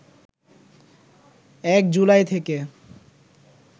১ July থেকে